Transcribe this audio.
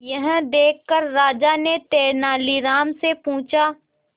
यह देखकर राजा ने तेनालीराम से पूछा